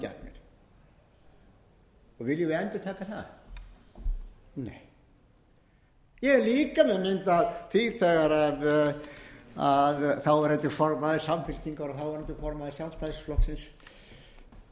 endurtaka það nei ég er líka með mynd af því þegar þáverandi formaður samfylkingar og þáverandi formaður sjálfstæðisflokksins